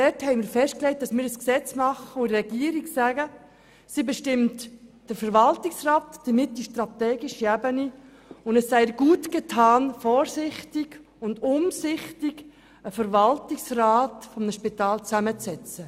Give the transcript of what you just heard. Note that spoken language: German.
Wir haben festgelegt, dass die Regierung den Verwaltungsrat und damit die strategische Ebene bestimmt, und wir haben der Regierung gesagt, dass gut daran getan sei, den Verwaltungsrat eines Spitals umsichtig zusammenzusetzen.